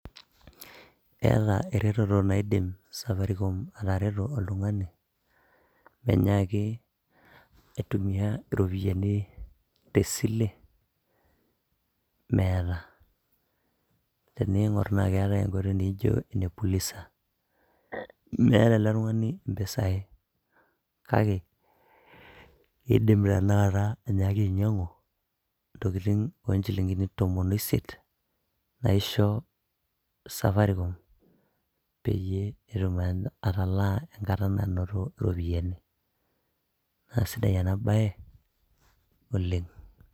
eeta eretoto naidim safaricom atareto oltung'ani menyaaki aitumia iropiyiani tesile meeta tening'orr naa keetae enkoitoi naijo ene pulisa meeta ele tung'ani impisai kake idim tanakata anyaaki ainyiang'u intokitin onchilingini tomon oisiet naisho safaricom peyie etum atalaa enkata nanoto iropiyiani naa sidai ena baye oleng.